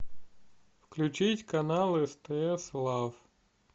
включить канал стс лав